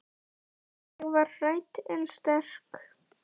Ég var hrædd en sterk.